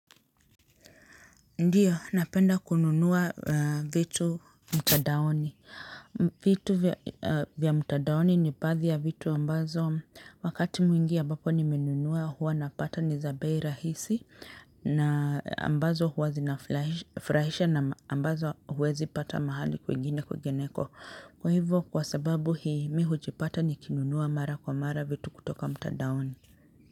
Ndio, napenda kununua vitu mtadaoni. Vitu vya mtadaoni ni baadhi ya vitu ambazo wakati mwingi ambapo ni menunua huwa napata ni za bei rahisi. Na ambazo huwa zinafurahisha na ambazo huwezi pata mahali kwingine kwingineko. Kwa hivyo, kwa sababu hii mimi hujipata ni kinunua mara kwa mara vitu kutoka mtadaoni.